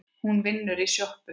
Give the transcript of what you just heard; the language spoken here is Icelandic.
Hún vinnur í sjoppu